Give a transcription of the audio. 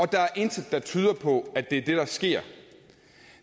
der er intet der tyder på at det er det der sker